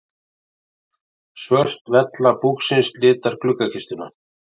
Svört vella búksins litar gluggakistuna.